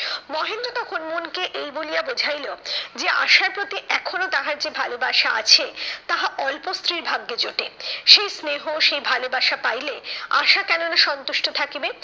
মহেন্দ্র তখন মনকে এই বলিয়া বোঝাইলো যে আশার প্রতি এখনো তাহার যে ভালোবাসা আছে তাহা অল্প স্ত্রীর ভাগ্যে জোটে। সেই স্নেহ সেই ভালোবাসা পাইলে, আশা কেননা সন্তুষ্ট থাকিবে?